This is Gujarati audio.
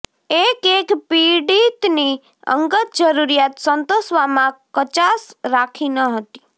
એકએક પીડિતની અંગત જરૂરીયાત સંતોષવામાં કચાશ રાખી ન હતી